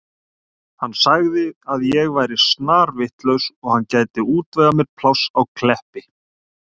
Hann sagði að ég væri snarvitlaus og hann gæti útvegað mér pláss á Kleppi.